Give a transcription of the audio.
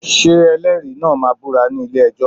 Ṣé ẹlẹ́rìí náà máa búra ní ilé-ẹjọ́?